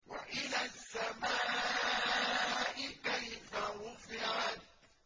وَإِلَى السَّمَاءِ كَيْفَ رُفِعَتْ